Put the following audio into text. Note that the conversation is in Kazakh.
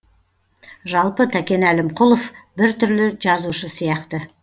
жалпы тәкен әлімқұлов бір түрлі жазушы сияқты